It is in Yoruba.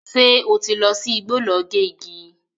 Ṣé ó ti lọ sí igbó lọ gé igi?